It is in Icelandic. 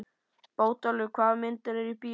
Bótólfur, hvaða myndir eru í bíó á mánudaginn?